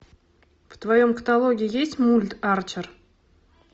в твоем каталоге есть мульт арчер